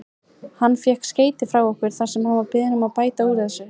Hann fékk skeyti frá okkur þar sem hann var beðinn að bæta úr þessu.